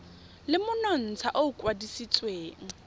le monontsha o o kwadisitsweng